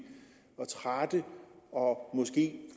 og trætte og måske